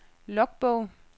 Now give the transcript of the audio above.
logbog